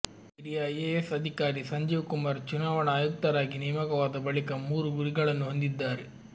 ಹಿರಿಯ ಐಎಎಸ್ ಅಧಿಕಾರಿ ಸಂಜೀವ್ ಕುಮಾರ್ ಚುನಾವಣಾ ಆಯುಕ್ತರಾಗಿ ನೇಮಕವಾದ ಬಳಿಕ ಮೂರು ಗುರಿಗಳನ್ನು ಹೊಂದಿದ್ದಾರೆ